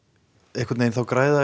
einhvern veginn græða